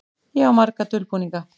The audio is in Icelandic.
Ég á marga dulbúninga.